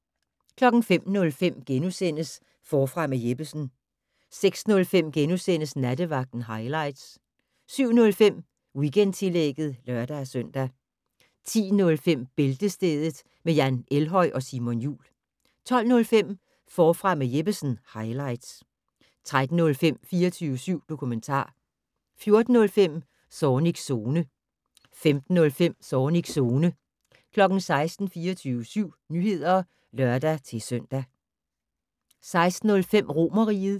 05:05: Forfra med Jeppesen * 06:05: Nattevagten highlights * 07:05: Weekendtillægget (lør-søn) 10:05: Bæltestedet med Jan Elhøj og Simon Jul 12:05: Forfra med Jeppesen - highlights 13:05: 24syv dokumentar 14:05: Zornigs Zone 15:05: Zornigs Zone 16:00: 24syv Nyheder (lør-søn) 16:05: Romerriget